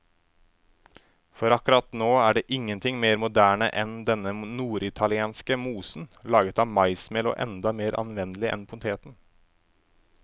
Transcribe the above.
For akkurat nå er ingenting mer moderne enn denne norditalienske mosen, laget av maismel og enda mer anvendelig enn poteten.